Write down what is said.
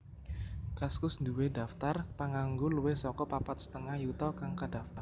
Kaskus nduwé daftar panganggo luwih saka papat setengah yuta kang kadaftar